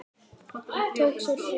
Tók sér frí.